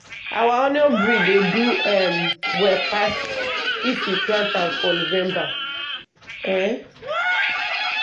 our onion breed dey do um well pass if we plant am for november. um